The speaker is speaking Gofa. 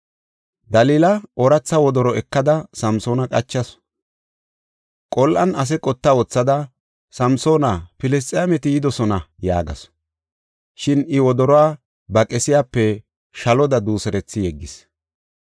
Dalila ooratha wodoro ekada Samsoona qachasu. Qol7an ase qotta wothada, “Samsoona, Filisxeemeti yidosona” yaagasu. Shin I wodoruwa ba qesiyape shaloda duuserethi yeggis.